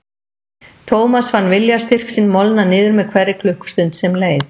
Thomas fann viljastyrk sinn molna niður með hverri klukkustund sem leið.